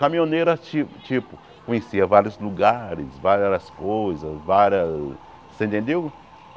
Caminhoneiro, tipo tipo, conhecia vários lugares, várias coisas, várias... Você entendeu?